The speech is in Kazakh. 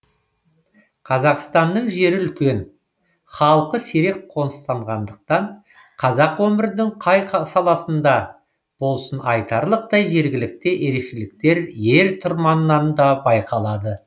қазақстанның жері үлкен халқы сирек қоныстанғандықтан қазақ өмірінің қай саласында болсын айтарлықтай жергілікті ерекшеліктер ер тұрманнан да байқалады